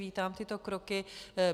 Vítám tyto kroky.